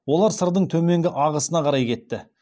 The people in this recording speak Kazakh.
олар сырдың төменгі ағасына қарай кетті